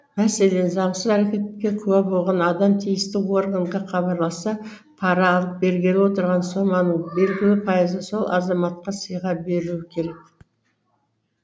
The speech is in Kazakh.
мәселен заңсыз әрекетке куә болған адам тиісті органға хабарласса пара алып берген отырған соманың белгілі пайызы сол азаматқа сыйға берілуі керек